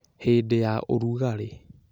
hĩndĩ ya ũrugarĩ